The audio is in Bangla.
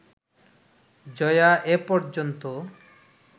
জয়া এ পর্যন্ত